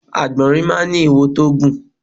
Àgbọ̀nrín máá ń ní iwo tó gùn